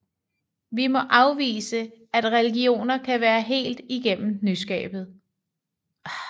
Vi må afvise at religioner kan være helt igennem nyskabte